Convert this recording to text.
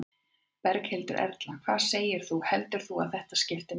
Berghildur Erla: Hvað segir þú, heldur þú að þetta skipti máli?